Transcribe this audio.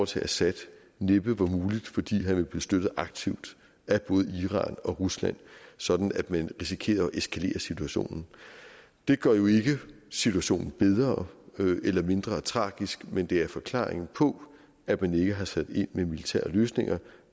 til assad næppe var muligt fordi han ville blive støttet aktivt af både iran og rusland sådan at man risikerer at eskalere situationen det gør jo ikke situationen bedre eller mindre tragisk men det er en forklaring på at man ikke har sat ind med militære løsninger